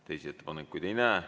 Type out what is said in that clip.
Teisi ettepanekuid ei näe.